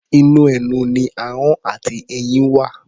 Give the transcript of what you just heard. Inú ẹnu ni ahọ́n àti eyín wà.